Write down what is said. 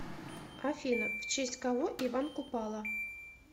афина в честь кого иван купала